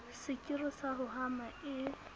sekiri sa ho hama e